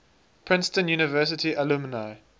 princeton university alumni